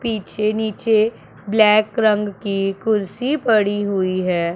पीछे नीचे ब्लैक रंग की कुर्सी पड़ी हुई है।